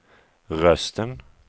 rösten